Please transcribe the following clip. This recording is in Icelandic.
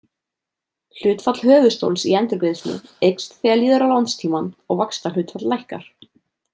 Hlutfall höfuðstóls í endurgreiðslu eykst þegar líður á lánstímann og vaxtahlutfall lækkar.